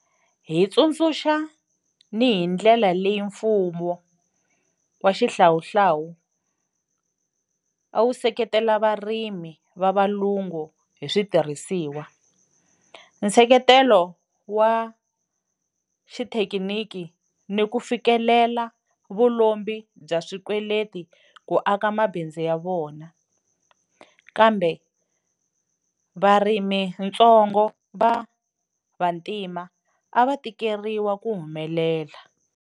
Hi tsundzuxa ni hi ndlela leyi mfumo wa xihlawuhlawu a wu seketela varimi va valungu hi switirhisiwa, nseketelo wa xithekiniki ni ku fikelela vu lombi bya swikweleti ku aka mabindzu ya vona, kambe varimitsongo va Vantima a va tikeriwa ku humelela.